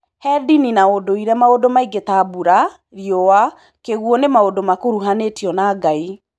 He ndini na ũndũire maũndũ mangĩ ta mbura, riũa, kĩguũ nĩ maũndũ makuruhanĩtio na Ngai.